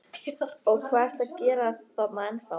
Og hvað ertu að gera þarna ennþá?